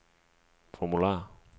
formular